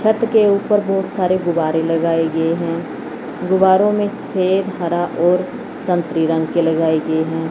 छत के ऊपर बहुत सारे गुब्बारे लगाए गए हैं गुब्बारे में सफेद हरा और संतरी रंग के लगाए गए हैं।